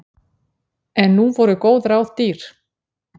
En nú voru góð ráð dýr.